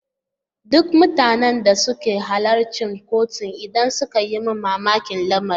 Duk mutanen da suka halarci kotun inda suka yi mamakin lamarin.